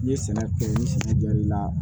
N'i ye sɛnɛ kɛ ni sugu jar'i la